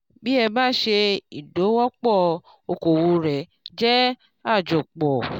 bí ẹ bá ṣe ìdòwòpò okòwò rẹ jẹ àjopò